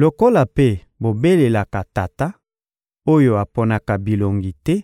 Lokola mpe bobelelaka Tata oyo aponaka bilongi te